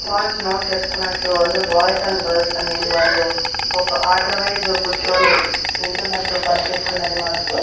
Points note చేసుకున్నట్లు అందరూ boys and girls అనేది వాళ్ళు ఒక ఆర్డర్ వైజ్ కూచోని వింటున్నట్టు కనిపిస్తున్నది మనకు.